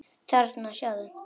Þarna, sjáðu